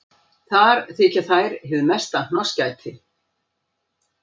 Þar þykja þær hið mesta hnossgæti.